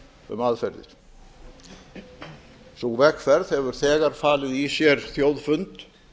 um aðferðir sú vegferð hefur þegar falið í sér þjóðfund